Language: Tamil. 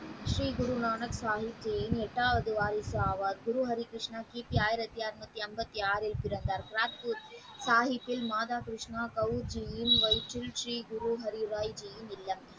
ஸ்ரீ குருநாதர் சாகிப்பின் எட்டாவது வாரிசு அவர் குரு ஹரிகிருஷ்ணா கிபி ஆயிரத்தி ஐநுத்தி எண்பத்தி ஆறு பிறந்தார் ராஜ் பூட்டில் சாகிப்பின் மாதா கிருஷ்ணா சௌஜியின் வயிற்றில் ஸ்ரீ குரு ஹரிராய ,